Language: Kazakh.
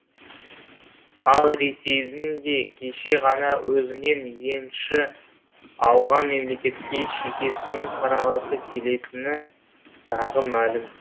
ал ресейдің де кеше ғана өзінен енші алған мемлекетке шекесінен қарағысы келетіні тағы мәлім